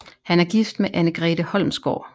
Han er gift med Anne Grete Holmsgaard